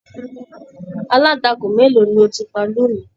Alantakun mélòó ni o ti pa lóni?